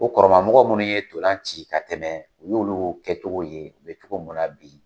O kɔrɔmɔgɔ minnu ye ntolanci ka tɛmɛ, u y'olu kɛcogo ye, u bɛ cogo munna bi